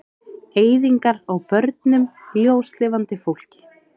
Eyðingar á börnum, ljóslifandi fólki.